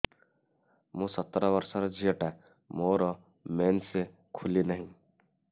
ମୁ ସତର ବର୍ଷର ଝିଅ ଟା ମୋର ମେନ୍ସେସ ଖୁଲି ନାହିଁ